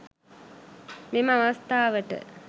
මෙම අවස්ථාවට